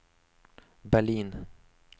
Berlin